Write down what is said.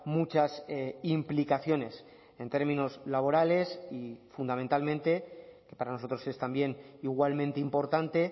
muchas implicaciones en términos laborales y fundamentalmente que para nosotros es también igualmente importante